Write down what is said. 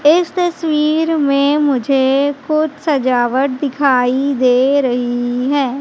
इस तस्वीर में मुझे कुछ सजावट दिखाई दे रही है।